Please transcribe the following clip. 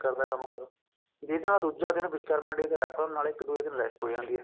ਕਰਦਾ ਕੰਮ ਕਰਨ ਨੂੰ ਵੀ ਇਹਦੇ ਨਾਲੋਂ ਦੁੱਜਾ ਦਿੰਨ ਵਿਸ਼ਕਰਮਾ day ਦਾ ਰੱਖ ਲਓ ਇੱਕ ਦੁੱਜੇ ਦਿੰਨ rest ਹੋ ਜਾਂਦੀ ਹੈ